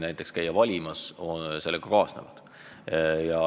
Näiteks tuleb käia valimas.